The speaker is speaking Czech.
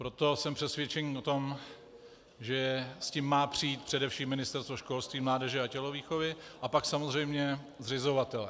Proto jsem přesvědčený o tom, že s tím má přijít především Ministerstvo školství, mládeže a tělovýchovy a pak samozřejmě zřizovatelé.